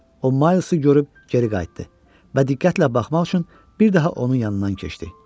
O Maylsı görüb geri qayıtdı və diqqətlə baxmaq üçün bir daha onun yanından keçdi.